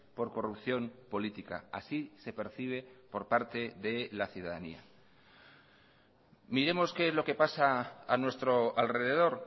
por corrupción política así se percibe por parte de la ciudadanía miremos que es lo que pasa a nuestro alrededor